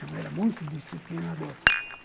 Minha mãe era muito disciplinadora.